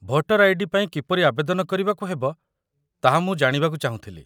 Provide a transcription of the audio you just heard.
Voter ID. ପାଇଁ କିପରି ଆବେଦନ କରିବାକୁ ହେବ, ତାହା ମୁଁ ଜାଣିବାକୁ ଚାହୁଁଥିଲି